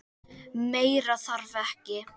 Meira þarf ekki.